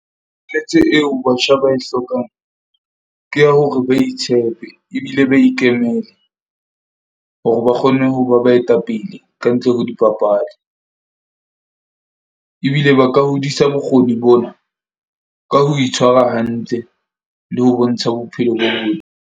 Eo batjha ba e hlokang ke ya hore ba itshepe ebile ba ikemele, hore ba kgone ho ba baetapele kantle ho dibapadi. Ebile ba ka hodisa bokgoni bona ka ho itshwara hantle le ho bontsha bophelo ba bona.